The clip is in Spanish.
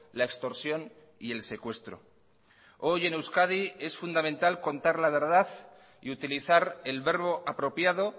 la extorsión y el secuestro hoy en euskadi es fundamental contar la verdad y utilizar el verbo apropiado